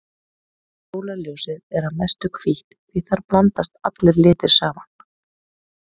Sólarljósið er að mestu hvítt því þar blandast allir litir saman.